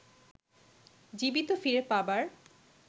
জীবিত ফিরে পাবার